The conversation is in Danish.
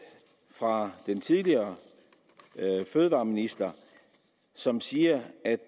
fra den tidligere fødevareminister som siger at